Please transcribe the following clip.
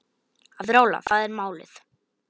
Að róla, það er málið.